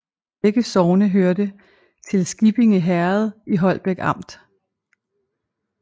Begge sogne hørte til Skippinge Herred i Holbæk Amt